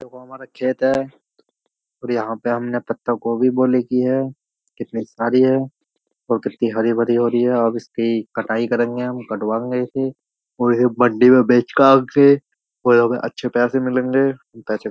देखो हमारा खेत है और यहाँ पे हमने पत्ता को भी बोली की है कितनी सारी है और कितनी हरी भरी हो रही है अब इसकी कटाई करेंगे हम कटवाएंगे इसे और इसे मंडी में बेच के आएंगे और हमें अच्छे पैसे मिलेंगे पैसे। पैसे --